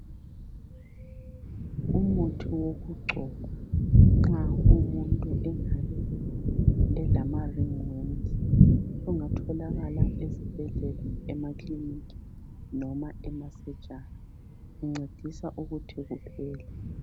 Umuthi wokugcoba nxa umuntu engabe elama ringworms. Sungatholakala ezibhedlela, emakiliniki noma emasurgery. Uncedisa ukuthi kuphele.